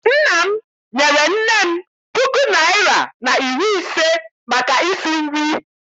Nna m nyere nne m puku naịra na iri ise maka isi nri.